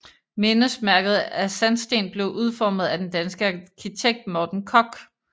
Mindesmærket af sandsten blev udformet af den danske arkitekt Mogens Koch